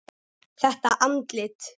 Þetta andlit.